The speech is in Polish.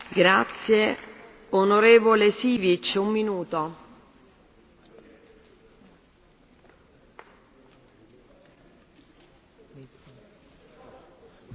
Pani Przewodnicząca! Będę kontynuował ten wątek czy Unia Europejska stanęła na wysokości zadania, czy nie. I powiem bardzo dosadnie bez polityki sąsiedztwa,